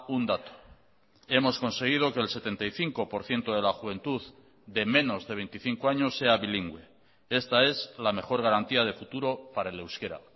un dato hemos conseguido que el setenta y cinco por ciento de la juventud de menos de veinticinco años sea bilingüe esta es la mejor garantía de futuro para el euskera